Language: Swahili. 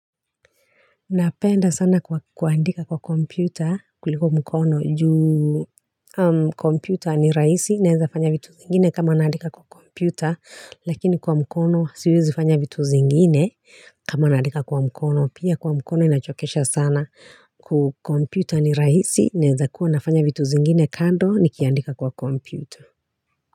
Napenda sana kuandika kwa kompyuta kuliko mkono juu kompyuta ni rahisi, naweza fanya vitu vingine kama naandika kwa kompyuta, lakini kwa mkono siwezi fanya vitu zingine kama naandika kwa mkono, pia kwa mkono inachokesha sana. Kompyuta ni rahisi naweza kuwa nafanya vitu zingine kando nikiandika kwa kompyuta.